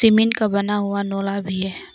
का बना हुआ भी है।